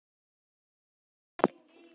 spurði Andri.